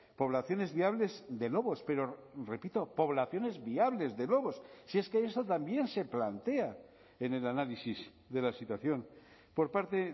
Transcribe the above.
poblaciones viables de lobos pero repito poblaciones viables de lobos si es que eso también se plantea en el análisis de la situación por parte